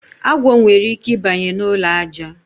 Agwọ nwere ike I banye na ụlọ aja.